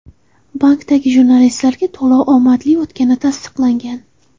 Bankda jurnalistlarga to‘lov omadli o‘tgani tasdiqlangan.